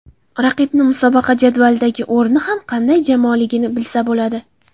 Raqibni musobaqa jadvalidagi o‘rnidan ham qanday jamoaligini bilsa bo‘ladi.